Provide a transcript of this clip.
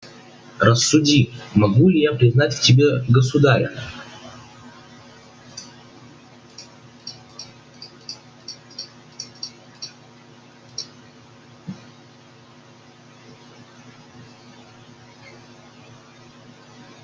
рассуди могу ли я признать в тебе государя